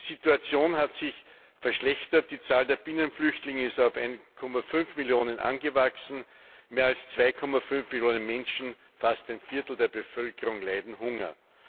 Die Situation hat sich verschlechtert, die Zahl der Binnenflüchtlinge ist auf 1,5 Millionen angewachsen, mehr als 2,5 Millionen Menschen fast ein Viertel der Bevölkerung leiden Hunger.